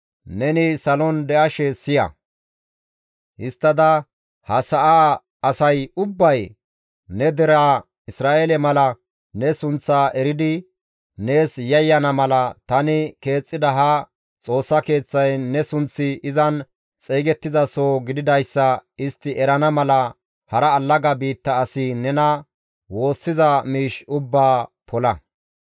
neni salon de7ashe siya; histtada ha sa7aa asay ubbay ne deraa Isra7eele mala ne sunththaa eridi nees yayyana mala, tani keexxida ha Xoossa Keeththay ne sunththi izan xeygettiza soho gididayssa istti erana mala hara allaga biitta asi nena woossiza miish ubbaa pola.